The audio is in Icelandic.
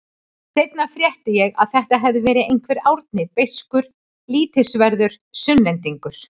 Seinna frétti ég að þetta hefði verið einhver Árni beiskur, lítilsverður Sunnlendingur.